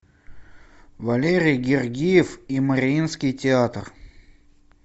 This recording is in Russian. валерий гергиев и мариинский театр